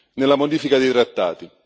nella modifica dei trattati.